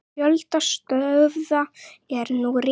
Fjöldi stöðva er nú rekinn.